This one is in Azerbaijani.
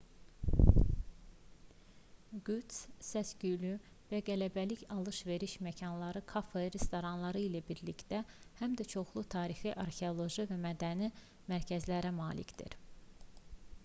qüds səs-küylü və qələbəlik alış-veriş məkanları kafe restoranları ilə birlikdə həm də çoxlu tarixi arxeoloji və mədəni mərkəzlərə malikdir